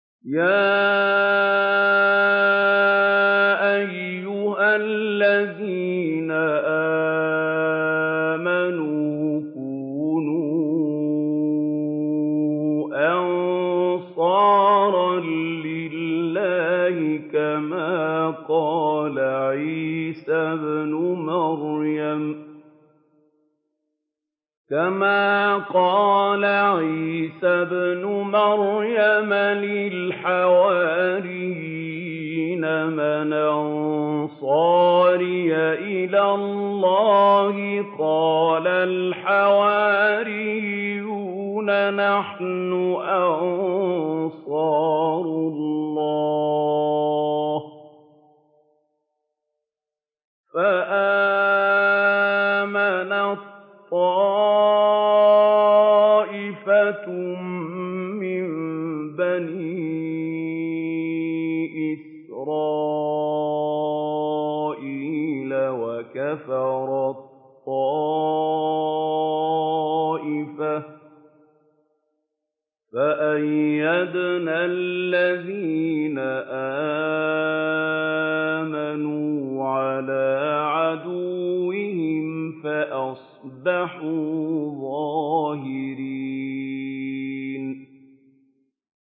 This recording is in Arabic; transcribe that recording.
يَا أَيُّهَا الَّذِينَ آمَنُوا كُونُوا أَنصَارَ اللَّهِ كَمَا قَالَ عِيسَى ابْنُ مَرْيَمَ لِلْحَوَارِيِّينَ مَنْ أَنصَارِي إِلَى اللَّهِ ۖ قَالَ الْحَوَارِيُّونَ نَحْنُ أَنصَارُ اللَّهِ ۖ فَآمَنَت طَّائِفَةٌ مِّن بَنِي إِسْرَائِيلَ وَكَفَرَت طَّائِفَةٌ ۖ فَأَيَّدْنَا الَّذِينَ آمَنُوا عَلَىٰ عَدُوِّهِمْ فَأَصْبَحُوا ظَاهِرِينَ